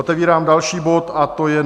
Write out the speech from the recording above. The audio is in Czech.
Otevírám další bod, a to je